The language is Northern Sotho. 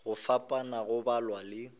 go fapana go balwa le